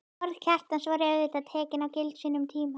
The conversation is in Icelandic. Orð Kjartans voru auðvitað tekin gild á sínum tíma.